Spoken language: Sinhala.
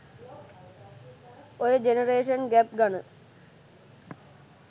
ඔය ජෙනරේෂන් ගැප් ගන